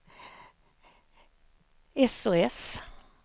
sos